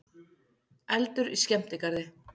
Eldur í skemmtigarði